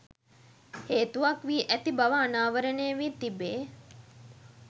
හේතුවක් වී ඇති බව අනාවරණය වී තිබේ